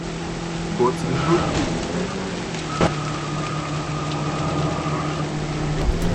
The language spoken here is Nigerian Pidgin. but e no tey moremi run comot from ugbo from ugbo back to ile ife